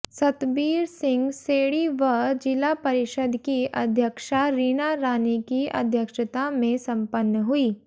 सतबीर सिंह सैणी व जिला परिषद की अध्यक्षा रीना रानी की अध्यक्षता में संपन्न हुई